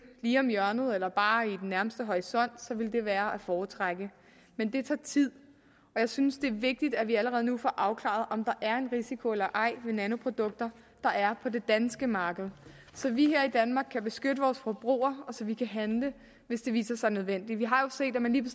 lige om hjørnet eller bare i den nærmeste horisont ville det være at foretrække men det tager tid og jeg synes det er vigtigt at vi allerede nu får afklaret om der er en risiko eller ej ved nanoprodukter der er på det danske marked så vi her i danmark kan beskytte vores forbrugere og så vi kan handle hvis det viser sig nødvendigt vi har jo set at man lige